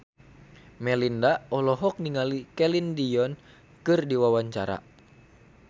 Melinda olohok ningali Celine Dion keur diwawancara